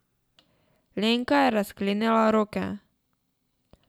Lenka je razklenila roke.